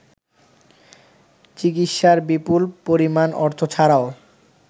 চিকিৎসার বিপুল পরিমাণ অর্থ ছাড়াও